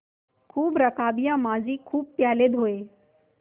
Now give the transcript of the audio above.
खूब रकाबियाँ माँजी खूब प्याले धोये